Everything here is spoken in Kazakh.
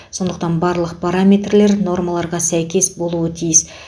сонықтан барлық параметрлер нормаларға сәйкес болуы тиіс